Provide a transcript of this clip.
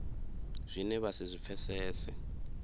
zwine vha si zwi pfesese